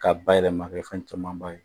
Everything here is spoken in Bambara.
K'a bayɛlɛma ka kɛ fɛn camanba ye